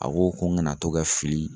A ko ko ŋana to ka fili